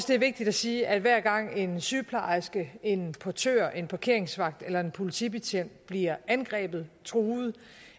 det er vigtigt at sige at hver gang en sygeplejerske en portør en parkeringsvagt eller en politibetjent bliver angrebet truet